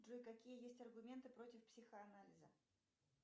джой какие есть аргументы против психоанализа